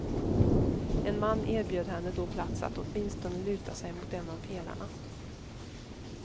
En man erbjöd henne då plats att åtminstone luta sig mot en av pelarna.